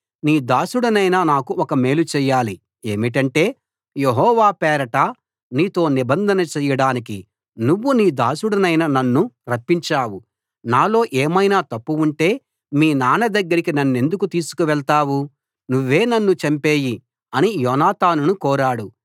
నీ దాసుడనైన నాకు ఒక మేలు చెయ్యాలి ఏమిటంటే యెహోవా పేరట నీతో నిబంధన చేయడానికి నువ్వు నీ దాసుడనైన నన్ను రప్పించావు నాలో ఏమైనా తప్పు ఉంటే మీ నాన్న దగ్గరికి నన్నెందుకు తీసుకువెళ్తావు నువ్వే నన్ను చంపెయ్యి అని యోనాతానును కోరాడు